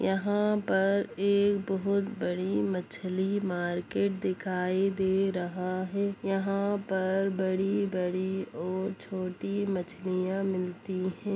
यहाँ पर एक बहुत बड़ी मछली मार्केट दिखाई दे रहा है| यहाँ पर बड़ी-बड़ी और छोटी मछलियाँ मिलती हैं।